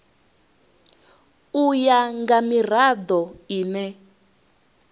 u ya nga mirado ine